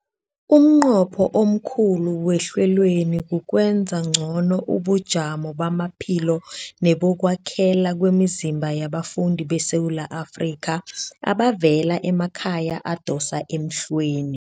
Umnqopho omkhulu wehlelweli kukwenza ngcono ubujamo bamaphilo nebokwakhela kwemizimba yabafundi beSewula Afrika abavela emakhaya adosa emhlweni.